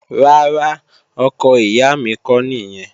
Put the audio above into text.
Rárá, ọkọ ìyá mi kọ́ nìyẹn